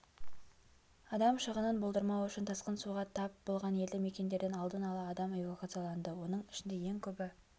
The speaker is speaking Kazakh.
адам шығынын болдырмау үшін тасқын суға тап болған елді-мекендерден алдын-ала адам эвакуацияланды оның ішінде ең көбі